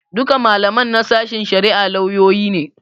Duka malaman na sashen shari'ar lauyoyi ne.